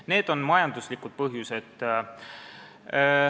Need on majanduslikud põhjused.